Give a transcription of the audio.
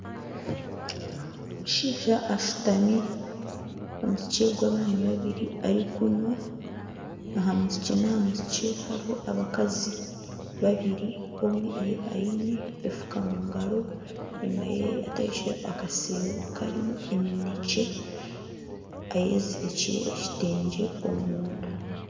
Omushaija ashutami ari kunywa. Aha musikye n'aha musikye hariho abakazi babiri omwe aine efuka omu ngaro, enyima ye ataikireho akashero karimu eminekye ayezirikire ekitengye omunda.